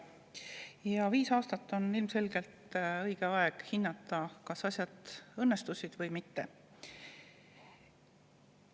Ja viis aastat on ilmselgelt aeg selleks, et hinnata, kas asjad õnnestusid või mitte.